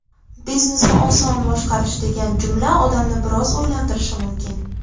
Biznesni oson boshqarish degan jumla odamni biroz o‘ylantirishi mumkin.